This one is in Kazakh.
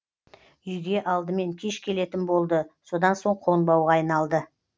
үйге алдымен кеш келетін болды содан соң қонбауға айналды